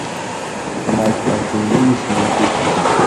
матч астон виллы с манчестером